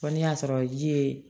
Fɔ ni y'a sɔrɔ ji ye